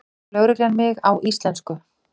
spyr lögreglan mig á íslensku.